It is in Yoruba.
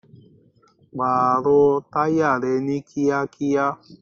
Pààrọ̀ táyà rẹ ni kíákíá!